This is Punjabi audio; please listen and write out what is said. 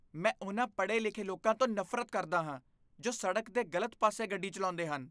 ਮੈਂ ਉਹਨਾਂ ਪਡ਼੍ਹੇ ਲਿਖੇ ਲੋਕਾਂ ਨੂੰ ਨਫ਼ਰਤ ਕਰਦਾ ਹਾਂ ਜੋ ਸਡ਼ਕ ਦੇ ਗਲਤ ਪਾਸੇ ਗੱਡੀ ਚੱਲਾਉਂਦੇ ਹਨ